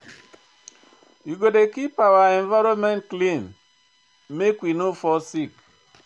We go dey keep our environment clean, make we no fall sick.